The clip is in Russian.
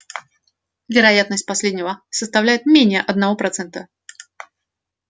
вероятность последнего составляет менее одного процента